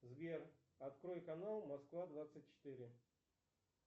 сбер открой канал москва двадцать четыре